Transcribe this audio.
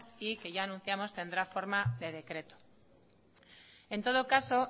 y que ya anunciamos tendrá forma de decreto en todo caso